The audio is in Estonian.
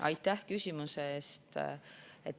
Aitäh küsimuse eest!